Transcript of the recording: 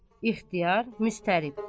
İxtiyar müstərib.